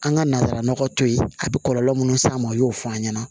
An ka nazara nɔgɔ to yen a bɛ kɔlɔlɔ minnu s'a ma u y'o fɔ an ɲɛna